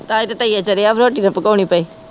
ਤਾ ਈ ਤੇ ਤਈਂਆ ਚੜਿਆ ਵਾ ਰੋਟੀ ਨਾ ਪਕੋਨੀ ਪੈ।